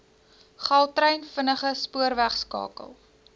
gautrain vinnige spoorwegskakel